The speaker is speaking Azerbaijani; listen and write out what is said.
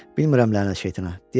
Bilmərəm lənət şeytana.